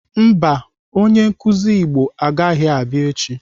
Mba, onye nkụzi Igbo agaghị abịa echi.